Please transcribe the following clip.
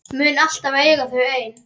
Mun alltaf eiga þau ein.